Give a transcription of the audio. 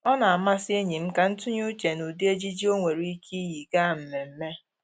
Ọ na-amasị enyi m ka m tụnye uche n'ụdị ejiji o nwere ike iyi gaa mmemme